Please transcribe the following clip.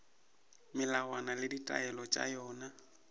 melawana le ditaelo tša yona